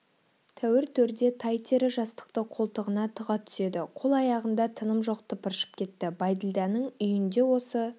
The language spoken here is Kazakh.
тәуір төрде тай тері жастықты қолтығына тыға түседі қол-аяғында тыным жоқ тыпыршып кетті бәйділданың үйінде осы